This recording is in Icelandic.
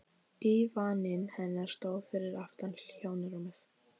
Dívaninn hennar stóð fyrir aftan hjónarúmið.